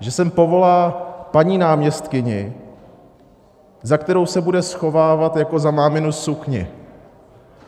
Že sem povolá paní náměstkyni, za kterou se bude schovávat jako za máminu sukni.